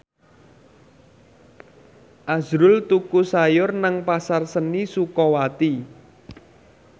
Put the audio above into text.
azrul tuku sayur nang Pasar Seni Sukawati